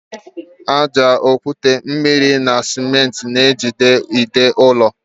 Ájá, okwute, mmiri na simenti na ejide ide ụlọ.